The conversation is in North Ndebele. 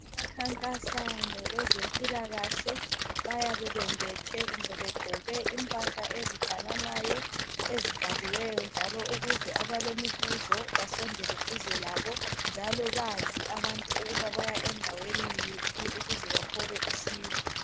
Abakhankasa ngokwezempilakahle bayabe bembethe kumbe begqoke impahla ezifananayo, ezibhaliweyo njalo ukuze abalemibuzo basondele duze labo, njalo bazi abantu ukuba baya endaweni iphi ukuze bathole usizo.